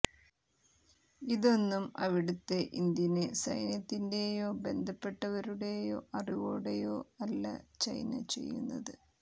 ഇതൊന്നും അവിടുത്തെ ഇന്ത്യന് സൈന്യത്തിന്റെയോ ബന്ധപ്പെട്ടവരുടെ അറിവോടെയോ അല്ല ചൈന ചെയ്യുന്നത്